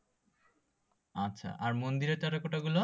আচ্ছা আর মন্দিরের টেরাকোটা গুলো?